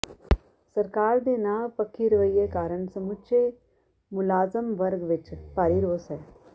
ਸਰਕਾਰ ਦੇ ਨਾਂਹ ਪੱਖੀ ਰਵੱਈਏ ਕਾਰਨ ਸਮੁੱਚੇ ਮੁਲਾਜ਼ਮ ਵਰਗ ਵਿੱਚ ਭਾਰੀ ਰੋਸ ਹੈ